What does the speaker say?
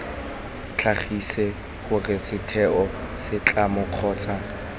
tlhagise gore setheo setlamo kgotsa